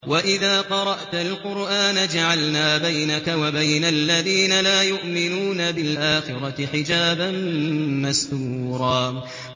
وَإِذَا قَرَأْتَ الْقُرْآنَ جَعَلْنَا بَيْنَكَ وَبَيْنَ الَّذِينَ لَا يُؤْمِنُونَ بِالْآخِرَةِ حِجَابًا مَّسْتُورًا